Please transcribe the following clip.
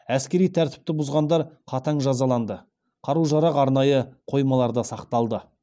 әскери тәртіпті бұзғандар қатаң жазаланды қару жарақ арнайы қоймаларда сақталды